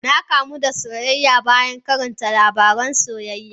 Na kamu da soyayya bayan karanta labaran soyayya.